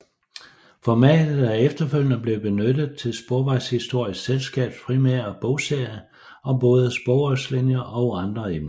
Formatet er efterfølgende blevet benyttet til Sporvejshistorisk Selskabs primære bogserie om både sporvognslinjer og andre emner